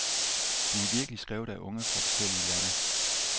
De er virkelig skrevet af unge fra forskellige lande.